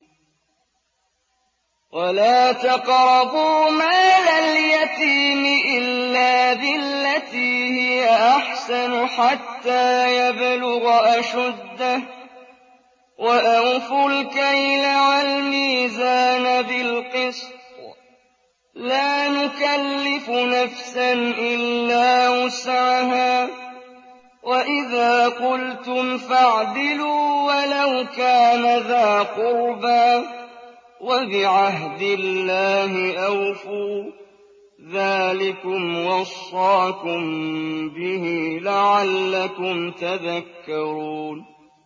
وَلَا تَقْرَبُوا مَالَ الْيَتِيمِ إِلَّا بِالَّتِي هِيَ أَحْسَنُ حَتَّىٰ يَبْلُغَ أَشُدَّهُ ۖ وَأَوْفُوا الْكَيْلَ وَالْمِيزَانَ بِالْقِسْطِ ۖ لَا نُكَلِّفُ نَفْسًا إِلَّا وُسْعَهَا ۖ وَإِذَا قُلْتُمْ فَاعْدِلُوا وَلَوْ كَانَ ذَا قُرْبَىٰ ۖ وَبِعَهْدِ اللَّهِ أَوْفُوا ۚ ذَٰلِكُمْ وَصَّاكُم بِهِ لَعَلَّكُمْ تَذَكَّرُونَ